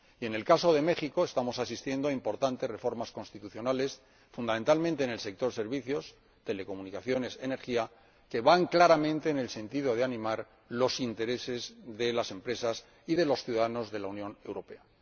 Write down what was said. Y en el caso de México estamos asistiendo a importantes reformas constitucionales, fundamentalmente en el sector de los servicios, las telecomunicaciones y la energía, que van claramente en el sentido de animar los intereses de las empresas y de los ciudadanos de la Unión Europea.